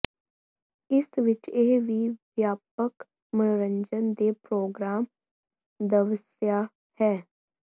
ਇਸ ਵਿਚ ਇਹ ਵੀ ਵਿਆਪਕ ਮਨੋਰੰਜਨ ਦੇ ਪ੍ਰੋਗਰਾਮ ਦਵਸਆ ਹੈ